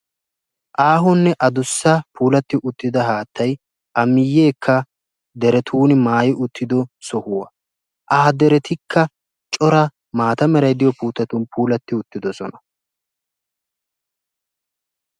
Aahonne adussa gidida haattay a miyeekka deretun maayi uttido sohuwaa. ha deretikka cora maata meray diyoo puutettun puulatti uttidosona.